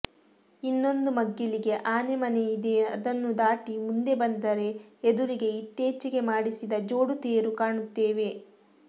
ಇನ್ನೊಂದು ಮಗ್ಗಲಿಗೆ ಆನೆ ಮನೆ ಇದೆ ಅದನ್ನು ದಾಟಿ ಮುಂದೆ ಬಂದರೆ ಎದುರಿಗೆ ಇತ್ತೀಚಿಗೆ ಮಾಡಿಸಿದ ಜೋಡು ತೇರು ಕಾಣುತ್ತೇವೆ